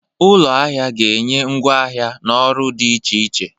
Ụlọ ahịa ga-enye ngwa ahịa na ọrụ dị iche iche.